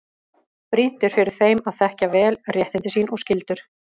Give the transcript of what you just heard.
Brýnt er fyrir þeim að þekkja vel réttindi sín og skyldur.